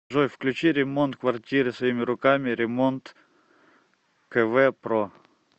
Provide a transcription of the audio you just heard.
джой включи ремонт квартиры своими руками ремонткв про